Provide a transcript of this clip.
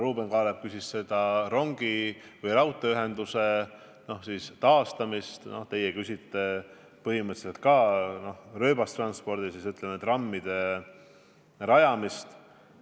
Ruuben Kaalep küsis raudteeühenduse taastamise kohta, teie küsisite põhimõtteliselt ka rööbastranspordi kohta, kitsamalt trammiteede rajamise kohta.